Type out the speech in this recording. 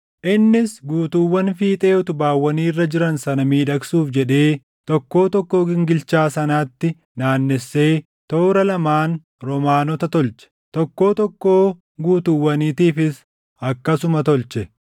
Innis guutuuwwan fiixee utubaawwanii irra jiran sana miidhagsuuf jedhee tokkoo tokkoo gingilchaa sanaatti naannessee toora lamaan roomaanota tolche. Tokkoo tokkoo guutuwwaniitiifis akkasuma tolche.